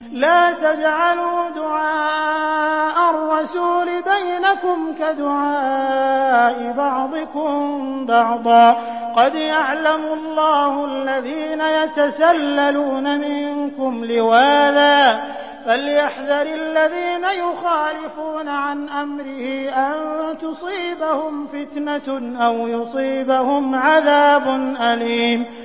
لَّا تَجْعَلُوا دُعَاءَ الرَّسُولِ بَيْنَكُمْ كَدُعَاءِ بَعْضِكُم بَعْضًا ۚ قَدْ يَعْلَمُ اللَّهُ الَّذِينَ يَتَسَلَّلُونَ مِنكُمْ لِوَاذًا ۚ فَلْيَحْذَرِ الَّذِينَ يُخَالِفُونَ عَنْ أَمْرِهِ أَن تُصِيبَهُمْ فِتْنَةٌ أَوْ يُصِيبَهُمْ عَذَابٌ أَلِيمٌ